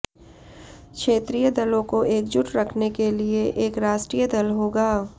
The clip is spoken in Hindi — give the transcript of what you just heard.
क्षेत्रीय दलों को एकजुट रखने के लिए एक राष्ट्रीय दल होगा